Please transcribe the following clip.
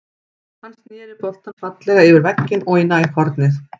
Hann snéri boltann fallega yfir vegginn og í nærhornið.